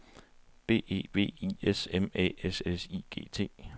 B E V I S M Æ S S I G T